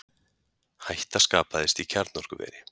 Hætta skapaðist í kjarnorkuveri